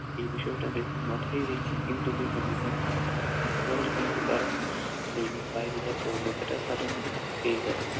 এই বিষয়টাকে মাথায় রেখে কিন্তু বেতন দিতে হবে, নাহলে কিন্তু তারা ওই বাইরে যাওয়ার প্রবণতাটা তাদের মধ্যে থেকেই যাবে